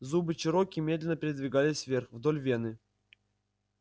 зубы чероки медленно передвигались вверх вдоль вены